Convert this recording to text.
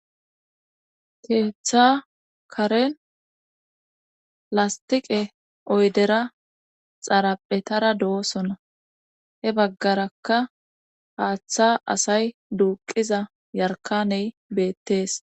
keetha karen lastiqe oydera xaraphetara do7osona he baggaraka haaththa asay duuqiza yarkaney beettees